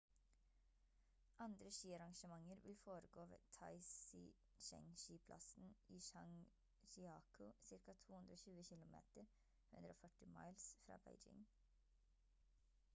andre skiarrangementer vil foregå ved taizicheng-skiplassen i zhangjiakou ca. 220 kilometer 140 miles fra beijing